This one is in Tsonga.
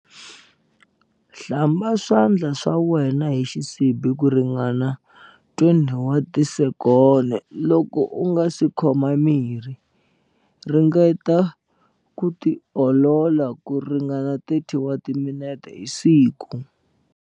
Hlamba swandla swa wena hi xisibi ku ringana 20 wa tisekoni, loko u nga si khoma mirhi. Ringeta ku tiolola ku ringana 30 wa timinete hi siku.